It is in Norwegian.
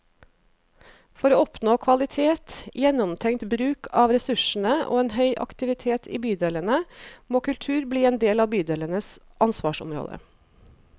For å oppnå kvalitet, gjennomtenkt bruk av ressursene og en høy aktivitet i bydelene, må kultur bli en del av bydelenes ansvarsområde.